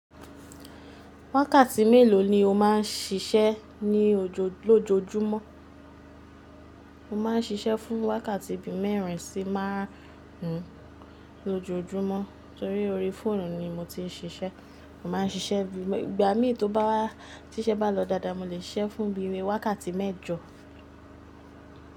Wákàtí mélòó ni o má ń siṣẹ́ ní lójoójúmọ́? Mo má ń ṣiṣẹ́ fún wákàtí bí mẹ́rin sí márùn ún lójojúmọ́, torí orí fóònù ni mo ti ń ṣiṣẹ́. Mo má ń ṣiṣẹ́ bí, ìgbà mí tó bá, tí iṣẹ́ bá lọ dáadáa, mo lè ṣiṣẹ́ fún bí i wákàtí mẹ́jọ.